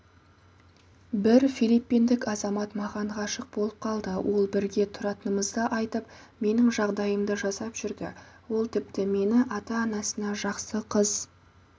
бір филиппиндік азамат маған ғашық болып қалды ол бірге тұратынымызды айтып менің жағдайымды жасап жүрді ол тіпті мені ата-анасына жақсы қыз